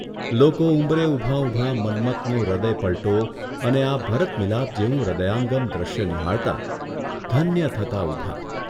લોકો ઉંબરે ઊભાં ઊભાં મન્મથનો હૃદયપલ્ટો અને આ ભરત મિલાપ જેવું હૃદયંગામ દ્રશ્ય નિહાળતાં, ધન્ય થતાં ઊભાં.